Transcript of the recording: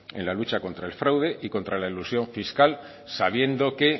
en la lucha contra el fraude y la elusión fiscal sabiendo que